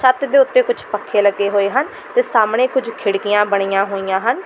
ਛੱਤ ਦੇ ਉੱਤੇ ਕੁੱਛ ਪੱਖੇ ਲੱਗੇ ਹੋਏ ਹਨ ਤੇ ਸਾਹਮਣੇ ਕੁੱਝ ਖਿੜਕੀਆਂ ਬਣੀਆਂ ਹੋਈਆਂ ਹਨ।